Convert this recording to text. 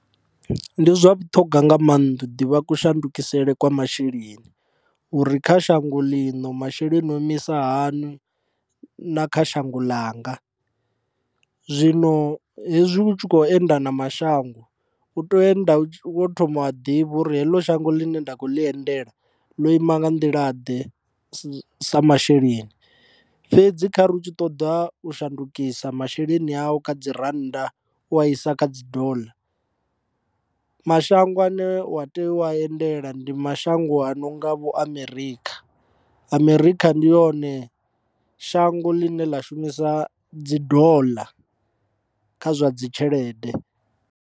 Ndi zwa vhuṱhogwa nga maanḓa ḓivha ku shandukiseaho kwa masheleni uri kha shango ḽino masheleni o imisa hani na kha shango ḽanga. Zwino hezwi u tshi kho enda na mashango u tea u enda wo thoma wa ḓivha uri heḽo shango ḽine nda kho ḽi endela ḽo ima nga nḓila ḓe sa masheleni, fhedzi khari u tshi ṱoḓa u shandukisa masheleni au kha dzi rannda u a isa kha dollar. Mashango ane u tea u endela ndi mashango anonga vho America, America ndi yone shango ḽine ḽa shumisa dzi dollar kha zwa dzi tshelede.